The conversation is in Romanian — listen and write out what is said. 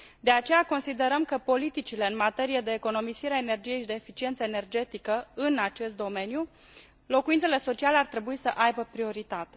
De aceea considerăm că politicile în materie de economisire a energiei și de eficiență energetică în acest domeniu, locuințele sociale, ar trebui să aibă prioritate.